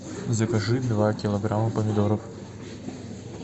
закажи два килограмма помидоров